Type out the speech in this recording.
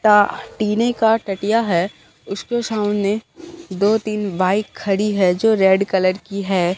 टा टीने का टटीया है उसके सामने दो-तीन बाइक खड़ी है जो रेड कलर की है।